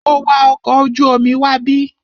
Mo wa ọkọ̀ ojú omi wábí.